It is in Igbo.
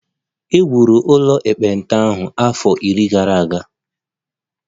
E wuru ụlọ ekpenta ahụ afọ iri gara aga